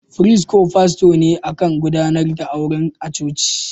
Firist ko fasto ne kan gudanar da auren a'coci.